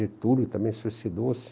Getúlio também suicidou-se.